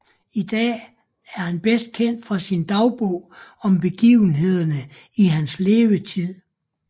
I dag er han bedst kendt for sin dagbog om begivenheder i hans levetid